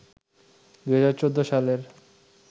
২০১৪ সালের